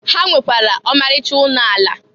Ha nwekwara ọmarịcha ụnọ ala.